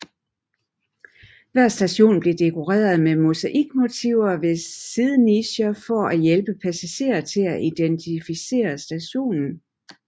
Hver station blev dekoreret med mosaikmotiver ved siddenicher for at hjælpe passagerer til at identificere stationen